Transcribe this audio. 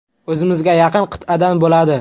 O‘zimizga yaqin qit’adan bo‘ladi.